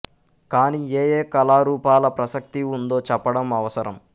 కాని ఏ ఏ కళారూపాల ప్రసక్తి ఉందో చెప్పడం అవసరం